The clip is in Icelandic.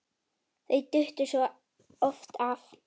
Þau duttu svo oft af.